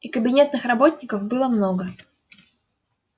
и кабинетных работников было много